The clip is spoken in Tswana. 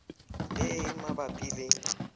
le e e mabapi le